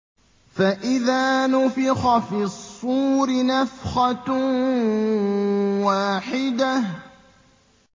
فَإِذَا نُفِخَ فِي الصُّورِ نَفْخَةٌ وَاحِدَةٌ